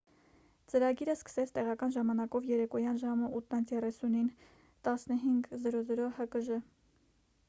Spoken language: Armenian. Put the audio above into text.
ծրագիրը սկսեց տեղական ժամանակով երեկոյան ժամը 8:30-ին 15.00 հկժ: